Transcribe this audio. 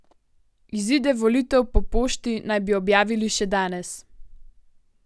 Izide volitev po pošti naj bi objavili še danes.